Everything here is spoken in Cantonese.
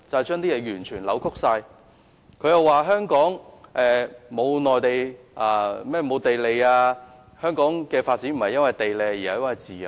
鄭議員指香港沒有地利，又說道香港的發展不是因為地利而是自由。